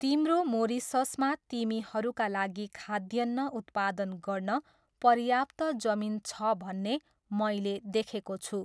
तिम्रो मोरिससमा तिमीहरूका लागि खाद्यान्न उत्पादन गर्न पर्याप्त जमिन छ भन्ने मैले देखेको छु।